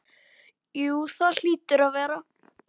Jú það hlýtur að vera.